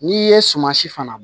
N'i ye sumansi fana